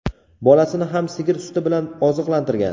bolasini ham sigir suti bilan oziqlantirgan.